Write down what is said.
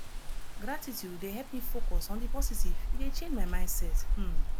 gratitude dey help me focus on di positive e dey change my mindset um